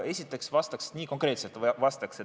Aga vastaks konkreetselt.